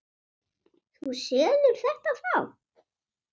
Þú selur þetta þá?